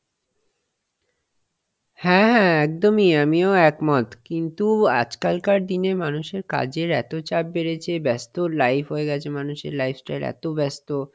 হ্যাঁ হ্যাঁ একদমই আমিও এক মত, কিন্তু আজকাল কার দিনের মানুষের কাজের এত চাপ বেড়েছে ব্যস্ত life হয়ে গেছে মানুষের lifestyle এত ব্যস্ত